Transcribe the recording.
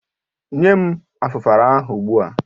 Nye m Afufara ahụ ogbu a!